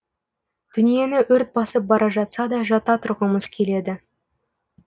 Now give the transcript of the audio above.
дүниені өрт басып бара жатса да жата тұрғымыз келеді